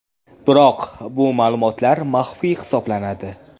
Biroq bu ma’lumotlar maxfiy hisoblanadi.